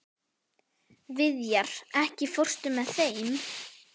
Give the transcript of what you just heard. Viðjar, ekki fórstu með þeim?